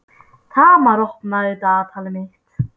Tamar, opnaðu dagatalið mitt.